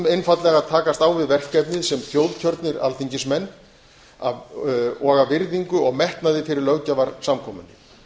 einfaldlega að takast á við verkefnið sem þjóðkjörnir alþingismenn og af virðingu og metnaði fyrir löggjafarsamkomunni